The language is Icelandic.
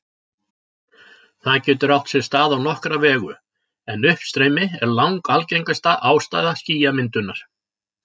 Það getur átt sér stað á nokkra vegu, en uppstreymi er langalgengasta ástæða skýjamyndunar.